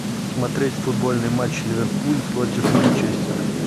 смотреть футбольный матч ливерпуль против манчестера